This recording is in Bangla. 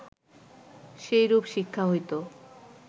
সেইরূ্প শিক্ষা হইত